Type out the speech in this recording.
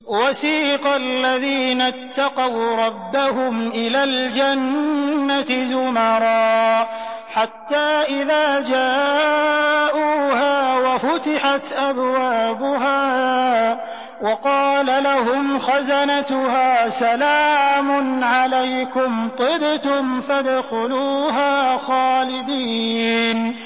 وَسِيقَ الَّذِينَ اتَّقَوْا رَبَّهُمْ إِلَى الْجَنَّةِ زُمَرًا ۖ حَتَّىٰ إِذَا جَاءُوهَا وَفُتِحَتْ أَبْوَابُهَا وَقَالَ لَهُمْ خَزَنَتُهَا سَلَامٌ عَلَيْكُمْ طِبْتُمْ فَادْخُلُوهَا خَالِدِينَ